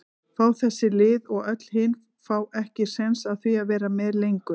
fá þessi lið og öll hin fá ekki séns á því að vera með lengur?